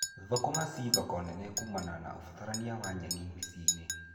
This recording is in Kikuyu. Thũkũma ci thoko nene kuumana na ũbatarania wa nyeni mĩciĩ-inĩ.